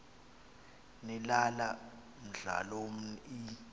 nilala mdlalomn l